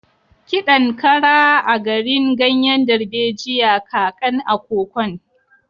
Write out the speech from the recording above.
Ki ɗan ƙara agrin ganyen darbejiya kaƙan a kokon.